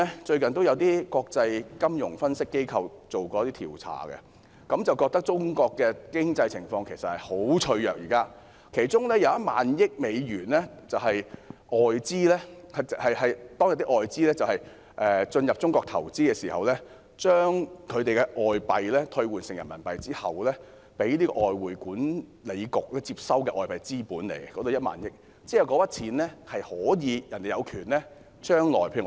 最近有些國際金融分析機構進行了一些調查，覺得中國現時的經濟情況十分脆弱，其中有1萬億美元是外資企業進入中國投資，把外幣兌換成人民幣後，被外匯管理局接收的外幣資本，外資企業將來有權撤回那筆錢。